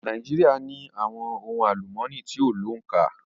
Nàíjíríà ní àwọn ohun àlúmooni tí kò ní òǹkà.